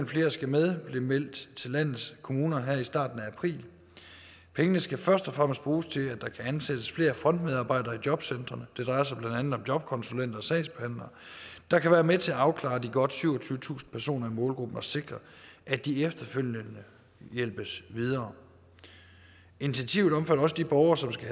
flere skal med blev meldt til landets kommuner her i starten af april pengene skal først og fremmest bruges til at ansætte flere frontmedarbejdere i jobcentrene det drejer sig blandt andet om jobkonsulenter og sagsbehandlere der kan være med til at afklare situationen for de godt syvogtyvetusind personer i målgruppen og sikre at de efterfølgende hjælpes videre initiativet omfatter også de borgere som skal